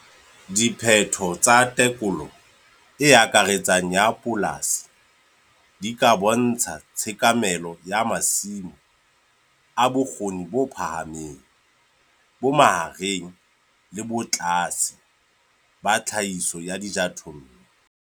Diphetho tsa tekolo e akaretsang ya polasi di ka bontsha tshekamelo ya masimo a bokgoni bo phahameng, bo mahareng le bo tlase ba tlhahiso ya dijothollo.